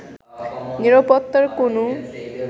নিরাপত্তার কোনো